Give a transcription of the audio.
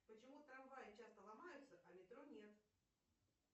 почему трамваи часто ломаются а метро нет